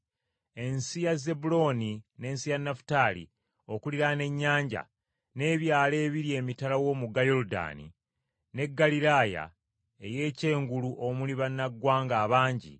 “Ensi ya Zebbulooni n’ensi ya Nafutaali, okuliraana ennyanja, n’ebyalo ebiri emitala w’omugga Yoludaani, n’e Ggaliraaya ey’ekyengulu omuli bannaggwanga abangi,